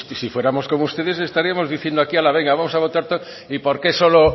si fuéramos como ustedes estaríamos diciendo aquí ala venga vamos a votar y por qué solo